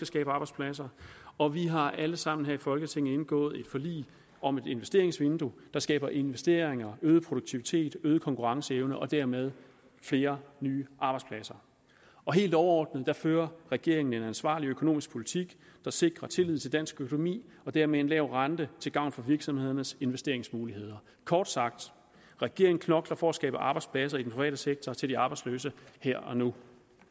skabe arbejdspladser og vi har alle sammen her i folketinget indgået et forlig om et investeringsvindue der skaber investeringer øget produktivitet øget konkurrenceevne og dermed flere nye arbejdspladser helt overordnet fører regeringen en ansvarlig økonomisk politik der sikrer tillid til dansk økonomi og dermed en lav rente til gavn for virksomhedernes investeringsmuligheder kort sagt regeringen knokler for at skabe arbejdspladser i den private sektor til de arbejdsløse her og nu